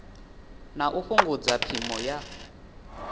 na u fhungudza phimo ya